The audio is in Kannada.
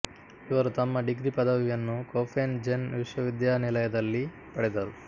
ಇವರು ತಮ್ಮ ಡಿಗ್ರಿ ಪದವಿಯನ್ನು ಕೋಫೆನ್ ಜೆನ್ ವಿಶ್ವವಿದ್ಯಾನೆಲಯದಲ್ಲಿ ಪಡೆದರು